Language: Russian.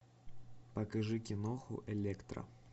покажи киноху электра